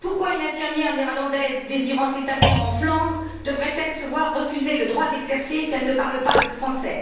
Pourquoi une infirmière néerlandaise désirant s'établir en Flandres devrait elle se voir refuser le droit d'exercer si elle ne parle pas le français?